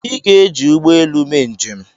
Ị ga-eji ụgbọ elu mee njem!